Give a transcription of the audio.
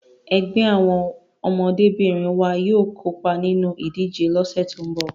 Ẹgbẹ́ àwọn ọmọdébìnrin wa yóò kópa nínú ìdíje lọ́sẹ̀ tí ń bọ̀.